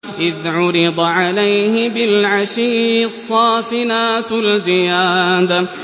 إِذْ عُرِضَ عَلَيْهِ بِالْعَشِيِّ الصَّافِنَاتُ الْجِيَادُ